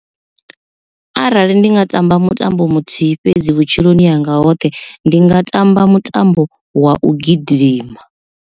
Arali ndi nga tamba mutambo muthihi fhedzi vhutshiloni hanga hoṱhe ndi nga tamba mutambo wa u gidima.